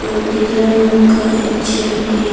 और नीला रंग का एक चेयर भी--